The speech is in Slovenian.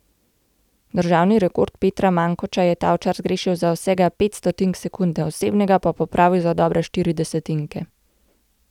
Državni rekord Petra Mankoča je Tavčar zgrešil za vsega pet stotink sekunde, osebnega pa popravil za dobre štiri desetinke.